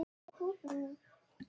Tveir dagar liðu.